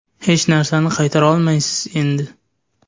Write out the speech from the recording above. Hech narsani qaytarolmaysiz endi.